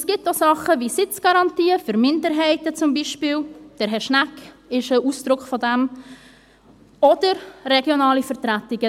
Es gibt auch Dinge wie Sitzgarantien für Minderheiten, Herr Schnegg ist zum Beispiel ein Ausdruck davon, oder regionale Vertretungen.